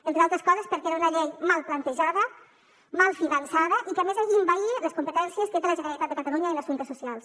entre d’altres coses perquè era una llei mal plantejada mal finançada i que a més envaïa les competències que té la generalitat de catalunya en assumptes socials